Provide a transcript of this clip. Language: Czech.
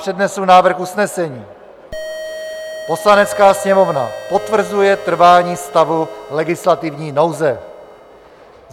Přednesu návrh usnesení: "Poslanecká sněmovna potvrzuje trvání stavu legislativní nouze."